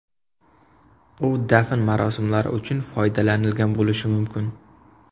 U dafn marosimlari uchun foydalanilgan bo‘lishi mumkin.